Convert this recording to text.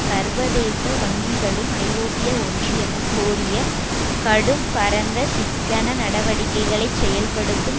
சர்வதேச வங்கிகளும் ஐரோப்பிய ஒன்றியமும் கோரிய கடும் பரந்த சிக்கன நடவடிக்கைகளை செயல்படுத்தும்